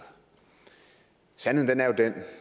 sandheden er jo den